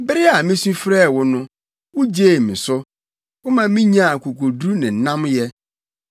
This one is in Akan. Bere a misu frɛɛ wo no, wugyee me so; woma minyaa akokoduru ne nnamyɛ.